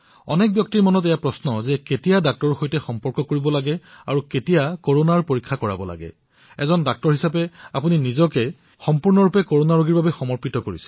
অনেক লোকৰ মনত এটা প্ৰশ্নৰ উদয় হৈছে যে কেতিয়া চিকিৎসকৰ সৈতে যোগাযোগ কৰিব লাগে আৰু কেতিয়া তেওঁলোকে কৰনাৰ পৰীক্ষা কৰিব লাগে এজন চিকিৎসক হোৱাৰ পৰিপ্ৰেক্ষিতত আপুনি নিজকে এই কৰনাৰ ৰোগীসকলৰ বাবে নিজকে সমৰ্পিত কৰিছে